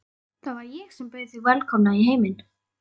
Það var ég sem bauð þig velkomna í heiminn.